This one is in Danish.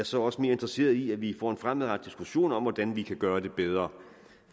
så også mere interesseret i at vi får en fremadrettet diskussion om hvordan vi kan gøre det bedre